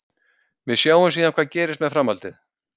Við sjáum síðan hvað gerist með framhaldið.